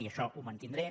i això ho mantindré